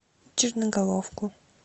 черноголовку